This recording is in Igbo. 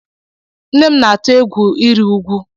Nne m na-atụ egwù ịrị úgwú.